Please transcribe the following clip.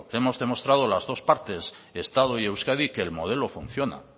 hemos demostrado las dos partes estado y euskadi que el modelo funciona